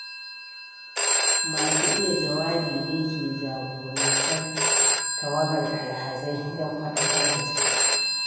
Masu iya jawabi ne ke jagorantar tawagar alhazai don faɗakar da su.